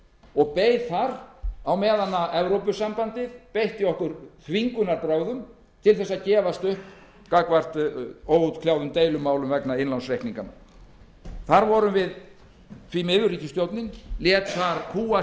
og beið þar á meðan evrópusambandið beitti okkur þvingunarbrögðum til þess að gefast upp gagnvart óútkljáðum deilumálum vegna innlánsreikninganna ríkisstjórnin lét þar því miður kúga